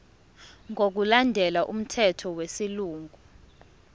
ngokulandela umthetho wesilungu